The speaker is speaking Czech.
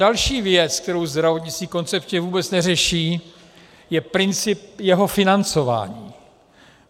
Další věc, kterou zdravotnictví koncepčně vůbec neřeší, je princip jeho financování.